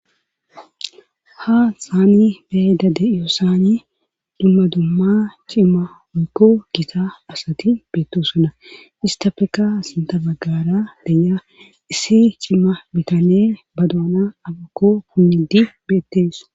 ha saani beeda de7iyo saani dumma dumma cimma mikko gisa asati beettosuna istafeka sinta baggara deya issi cimma bitane baduana abakko punnidi beettees